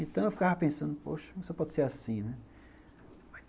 Então eu ficava pensando, poxa, como isso pode ser assim, né.